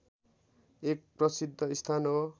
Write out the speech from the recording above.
एक प्रसिद्ध स्थान हो